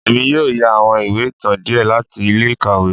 Èmí yóò yà àwọn ìwé ìtàn diẹ láti ilé-ikáwe